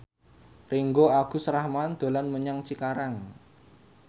Ringgo Agus Rahman dolan menyang Cikarang